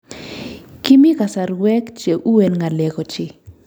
Kimii kasarwek che uen ngalek ochei